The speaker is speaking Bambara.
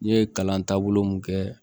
N ye kalan taabolo mun kɛ